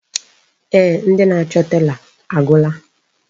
Eeh, ndị na-achọ tela agwụla.